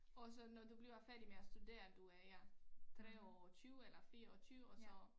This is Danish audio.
Og så når du bliver færdig med at studere du er ja 23 eller 24 og så